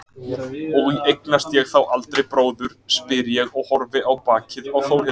Og eignast ég þá aldrei bróður, spyr ég og horfi á bakið á Þórhildi.